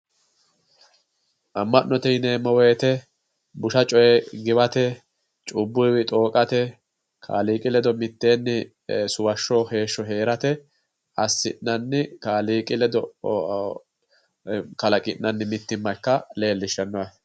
Ama'note yineemmo woyte busha coye giwate, cubbuwi xoqate, kaaliiqi ledo suwashsho doogo mitteni heerate assinanni kaaliiqi ledo kalaqi'nanni mittimma ikka leellishano yaate.